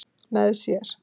með sér.